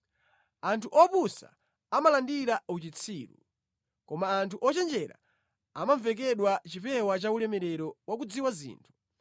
Anthu opusa amalandira uchitsiru, koma anthu ochenjera amavekedwa chipewa cha ulemerero wa kudziwa zinthu.